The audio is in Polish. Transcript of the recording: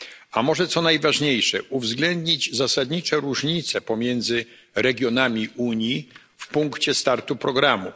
a może co najważniejsze uwzględnić zasadnicze różnice pomiędzy regionami Unii w punkcie startu programu.